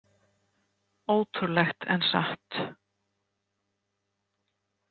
Ótrúlegt en satt?